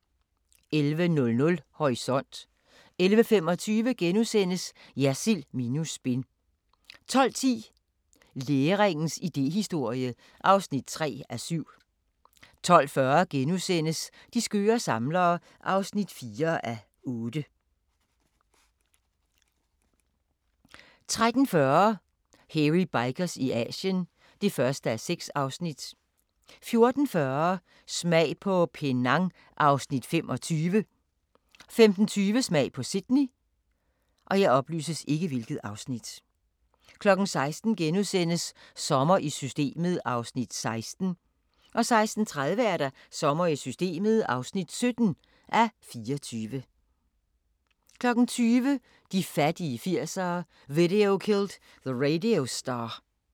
11:00: Horisont 11:25: Jersild minus spin * 12:10: Læringens idéhistorie (3:7) 12:40: De skøre samlere (4:8)* 13:40: Hairy Bikers i Asien (1:6) 14:40: Smag på Penang (Afs. 25) 15:20: Smag på Sydney 16:00: Sommer i Systemet (16:24)* 16:30: Sommer i Systemet (17:24) 20:00: De fattige 80'ere: Video Killed the Radio Star